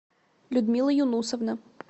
людмила юнусовна